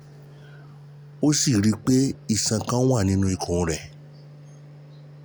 Ó sì rí i pé iṣan kan wà nínú ikùn rẹ̀